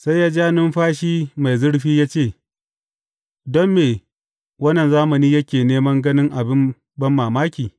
Sai ya ja numfashi mai zurfi ya ce, Don me wannan zamani yake neman ganin abin banmamaki?